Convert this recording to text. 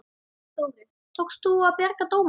Þórir: Tókst að bjarga dómunum?